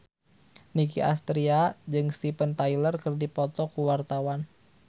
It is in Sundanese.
Nicky Astria jeung Steven Tyler keur dipoto ku wartawan